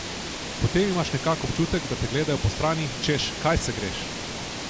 Potem imaš nekako občutek, da te gledajo postrani, češ: "Kaj se greš?